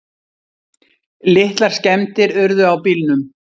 Litlar skemmdir urðu á bílnum.